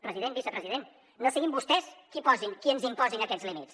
president vicepresident no siguin vostès qui ens imposin aquests límits